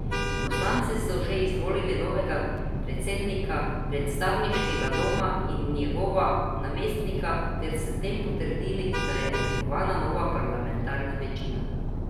Poslanci so že izvolili novega predsednika predstavniškega doma in njegova namestnika ter s tem potrdili, da je oblikovana nova parlamentarna večina.